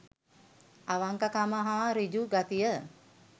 අවංක කම හා සෘජු ගතිය